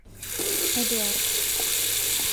эдуард